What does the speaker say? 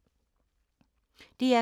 DR K